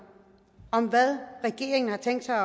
om hvad regeringen har tænkt sig at